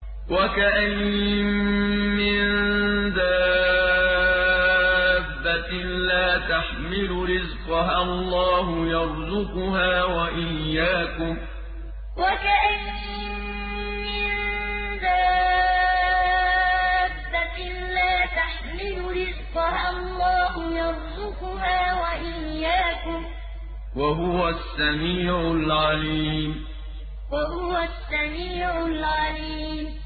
وَكَأَيِّن مِّن دَابَّةٍ لَّا تَحْمِلُ رِزْقَهَا اللَّهُ يَرْزُقُهَا وَإِيَّاكُمْ ۚ وَهُوَ السَّمِيعُ الْعَلِيمُ وَكَأَيِّن مِّن دَابَّةٍ لَّا تَحْمِلُ رِزْقَهَا اللَّهُ يَرْزُقُهَا وَإِيَّاكُمْ ۚ وَهُوَ السَّمِيعُ الْعَلِيمُ